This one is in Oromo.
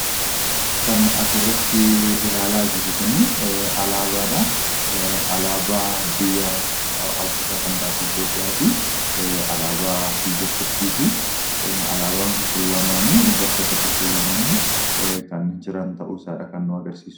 Kan asirratti ilaalaa jirru kun alaabaadha. Alaabaa biyya Afriikaa kan taate Itoophiyaa fi alaabaa biyya Turkiiti. Alaabaan kun lamaan bakka tokko kaawwamanii kan jiranidha kan nutti argisiisu.